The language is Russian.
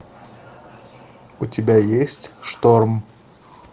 у тебя есть шторм